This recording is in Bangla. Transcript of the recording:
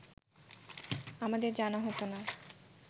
আমাদের জানা হতো না